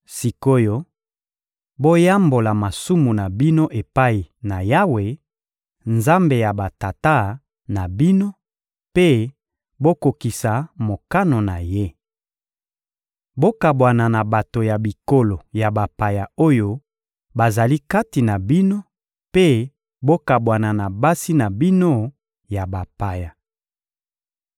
Sik’oyo, boyambola masumu na bino epai na Yawe, Nzambe ya batata na bino, mpe bokokisa mokano na Ye! Bokabwana na bato ya bikolo ya bapaya oyo bazali kati na bino mpe bokabwana na basi na bino ya bapaya.